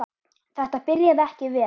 Þetta byrjaði ekki vel.